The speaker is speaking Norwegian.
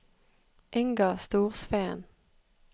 Inga Storsveen